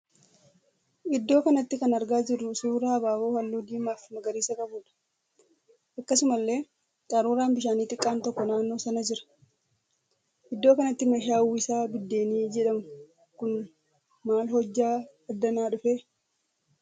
Iddoo kanatti kan argaa jirruu suuraa abaaboo halluu diimaa fi magariisa qabuudha. akkasumallee qaruuraan bishaanii xiqqaan tokko naannoo sana jira. Iddoo kanatti meeshaa uwwisaa biddeenii jedhamu kun maal hojjaa adana dhufee?